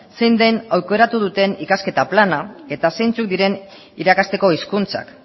zein den aukeratu duten ikasketa plana eta zeintzuk diren irakasteko hizkuntzak